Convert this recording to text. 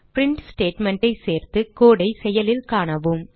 print statement ஐ சேர்த்து code ஐ செயலில் காணவும்